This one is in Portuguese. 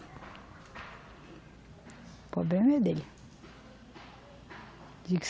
O problema é dele.